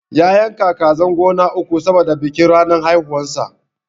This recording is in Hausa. ya yanka kazan gona uku saboda bikin ranar haihuwan sa